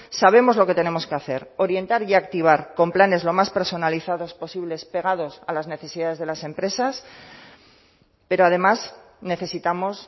sabemos lo que tenemos que hacer orientar y activar con planes lo más personalizados posibles pegados a las necesidades de las empresas pero además necesitamos